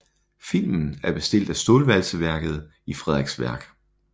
Filmen er bestilt af Stålvalseværket i Frederiksværk